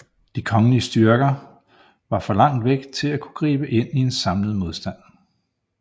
De kongelige styrker var for langt væk til at kunne gribe ind til en samlet modstand